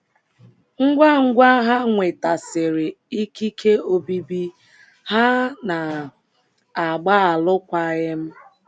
Ngwa ngwa ha nwetasịrị ikike obibi, ha na -- agba alụkwaghịm.